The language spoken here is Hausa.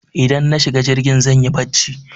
Idan na shiga jirgin zanyi barci